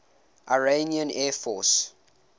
iranian air force